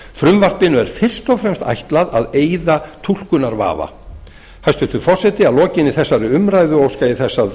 frumvarpinu er fyrst og fremst ætlað að eyða túlkunarvafa hæstvirtur forseti að lokinni þessari umræðu óska ég þess að